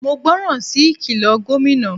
Mo gbọ́ ràn sí ìkìlọ̀ Gómìnà.